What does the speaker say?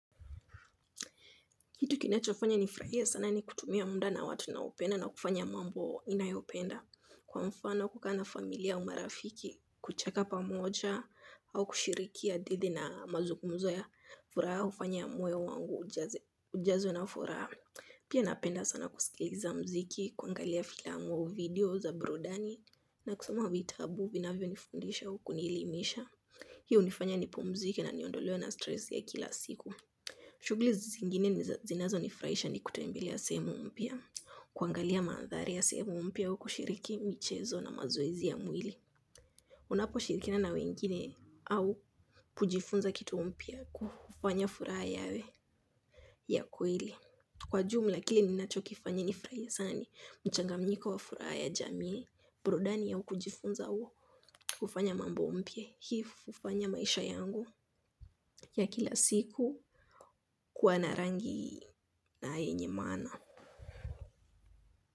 Kitu kinachofanya nifurahie sana ni kutumia muda na watu ninaopenda na kufanya mambo ninayopenda kwa mfano kukaa na familia au marafiki kucheka pamoja au kushiriki hadithi na mazungumzo ya furaha hufanya moyo wangu ujazwe na furaha. Pia napenda sana kusikiliza muziki, kuangalia filamu au video za burudani na kusoma vitabu vinavyonifundisha au kunielimisha. Hii hunifanya nipomzike na niondolewe na stress ya kila siku. Shughuli zingine zinazonifurahisha ni kutembelea sehemu mpya. Kuangalia madhari ya sehemu mpya au kushiriki michezo na mazoezi ya mwili. Unaposhirikina na wengine au kujifunza kitu mpya kufanya furaha yawe ya kweli kwa jumla kile ninachokifanya nifurahie sana ni mchanganyiko wa furaha ya jamii. Burudani au kujifunza kufanya mambo mpya. Hii hufanya maisha yangu ya kila siku kuwa na rangi na yenye maana.